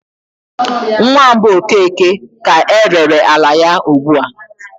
Nwa mbụ Okeke ka erere ala ya ugbu a.